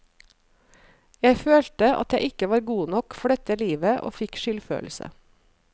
Jeg følte at jeg ikke var god nok for dette livet og fikk skyldfølelse.